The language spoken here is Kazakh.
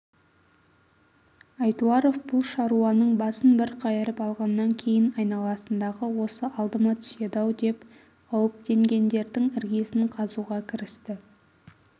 айтуаров бұл шаруаның басын бір қайырып алғаннан кейн айналасындағы осы алдыма түседі-ау деп қауіптенгендердің іргесін қазуға кірісті